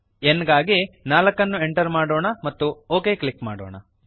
n ಗಾಗಿ 4 ಅನ್ನು enter ಮಾಡೋಣ ಮತ್ತು ಒಕ್ ಕ್ಲಿಕ್ ಮಾಡೋಣ